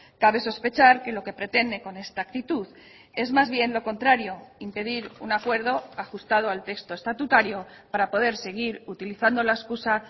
cabe sospechar que lo que pretende con esta actitud es más bien lo contrario impedir un acuerdo ajustado al texto estatutario para poder seguir utilizando la excusa